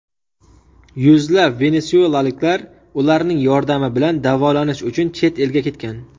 Yuzlab venesuelaliklar ularning yordami bilan davolanish uchun chet elga ketgan.